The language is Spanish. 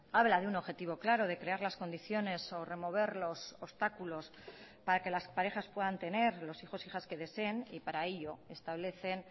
habla de un objetivo claro de crear las condiciones o remover los obstáculos para que las parejas puedan tener los hijos hijas que deseen y para ello establecen